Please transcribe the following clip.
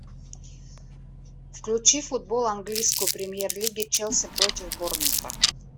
включи футбол английской премьер лиги челси против борнмута